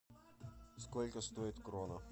сколько стоит крона